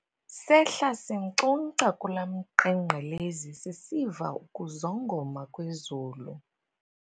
Sehla sinkcunkca kula mqengqelezi sisiva ukuzongoma kwezulu.